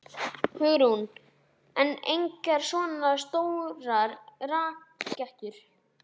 Hugrún: En engar svona stórar rakettur?